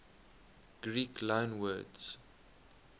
greek loanwords